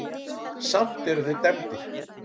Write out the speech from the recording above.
Samt eru þeir dæmdir.